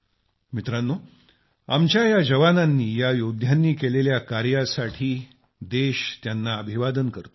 मित्रांनो आमच्या या जवानांनी या योद्धांनी केलेल्या कार्यासाठी देश त्यांना अभिवादन करतो